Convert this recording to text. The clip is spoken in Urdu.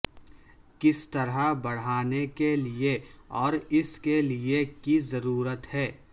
کس طرح بڑھانے کے لئے اور اس کے لئے کی ضرورت ہے